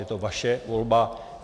Je to vaše volba.